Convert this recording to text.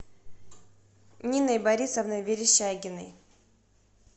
ниной борисовной верещагиной